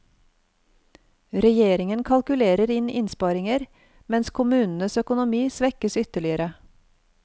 Regjeringen kalkulerer inn innsparinger, mens kommunenes økonomi svekkes ytterligere.